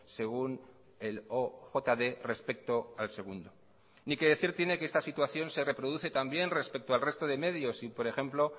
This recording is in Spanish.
según el ojd respecto al segundo ni qué decir tiene que esta situación se reproduce también respecto al resto de medios y por ejemplo